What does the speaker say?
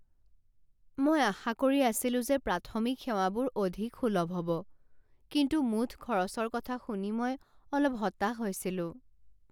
মই আশা কৰি আছিলো যে প্ৰাথমিক সেৱাবোৰ অধিক সুলভ হ'ব, কিন্তু মুঠ খৰচৰ কথা শুনি মই অলপ হতাশ হৈছিলো।